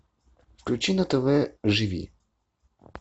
включи на тв живи